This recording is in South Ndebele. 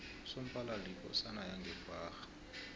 usomphalali yikosana yange kwagga